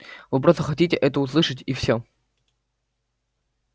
вы просто хотите это услышать и всё